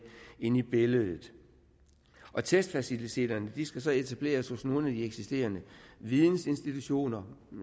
inde i billedet testfaciliteterne skal så etableres hos nogle af de eksisterende videninstitutioner